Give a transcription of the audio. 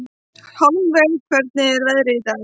Hjálmveig, hvernig er veðrið í dag?